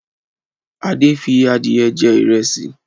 Adé fi adìẹ jẹ ìrẹsì.